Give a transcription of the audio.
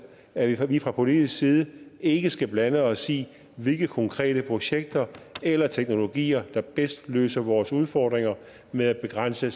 at vi fra politisk side ikke skal blande os i hvilke konkrete projekter eller teknologier der bedst løser vores udfordringer med at begrænse